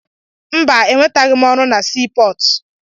Mba, enweteghị m ọrụ na sii pọọtụ.